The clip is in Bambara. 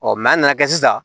a nana kɛ sisan